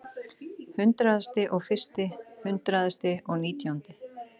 Hundraðasti og fyrsti, hundraðasti og nítjándi.